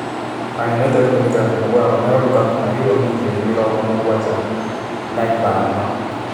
Mũndũ United gũĩtĩkĩra kũmũgũra Romeo Rukaku na yuro mirioni mĩrongo-mũgwanja na ithano.